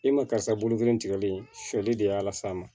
E ma karisa bolo kelen tigɛli fɛli de y'a las'a ma